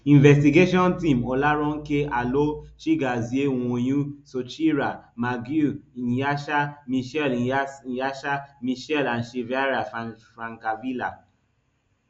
investigation team olaronke alo chiagozie nwonwu sucheera maguire nyasha michelle nyasha michelle and chiara francavilla